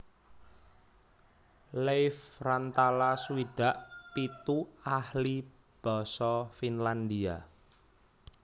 Leif Rantala swidak pitu ahli basa Finlandia